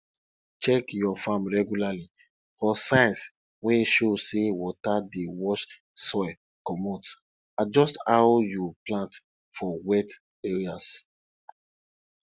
check your farm reglarly for signs wey show say water dey wash soil comot adjust how you plant for wet areas